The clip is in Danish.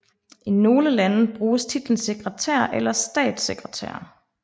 I nogle lande bruges titlen sekretær eller statssekretær